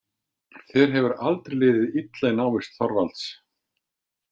Þér hefur aldrei liðið illa í návist Þorvalds.